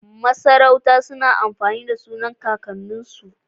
Masarauta suna amfani da sunan kakan nin su